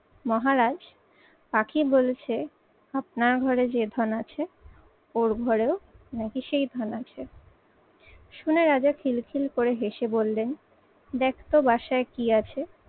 মহারাজ পাখি বলছে আপনার ঘরে যে ধন আছে, ওর ঘরেও নাকি সেই ধান আছে। শুনে রাজা খিলখিল করে হেসে বললেন দেখতো বাসায় কি আছে?